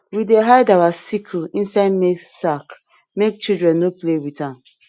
we dey hide our sickle inside maize sack make children no play with am